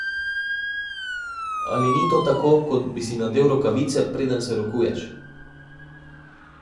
Ali ni to tako, kot bi si nadel rokavice, preden se rokuješ?